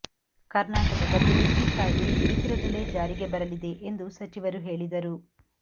ಕರ್ನಾಟದಲ್ಲೂ ಈ ಕಾಯ್ದೆ ಶೀಘ್ರದಲ್ಲೇ ಜಾರಿಗೆ ಬರಲಿದೆ ಎಂದು ಸಚಿವರು ಹೇಳಿದರು